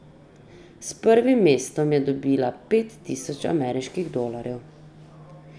S prvim mestom je dobila pet tisoč ameriških dolarjev.